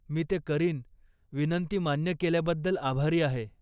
मी ते करीन. विनंती मान्य केल्याबद्दल आभारी आहे.